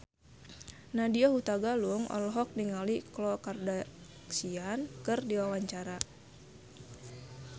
Nadya Hutagalung olohok ningali Khloe Kardashian keur diwawancara